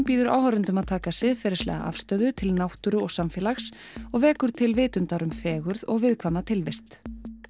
býður áhorfendum að taka siðferðilega afstöðu til náttúru og samfélags og vekur til vitundar um fegurð og viðkvæma tilvist